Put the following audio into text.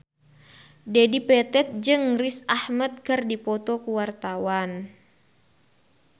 Dedi Petet jeung Riz Ahmed keur dipoto ku wartawan